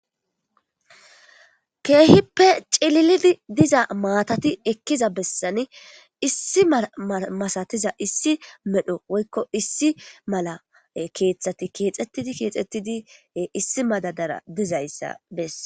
keehippe cililidi diza maatati ekkiza bessani issi masatiza issi medho woykko issi mala keeththati keexettidi keexettidie issi madadara dizayssa bess